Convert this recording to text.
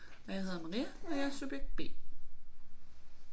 Og jeg hedder Maria og jeg er subjekt B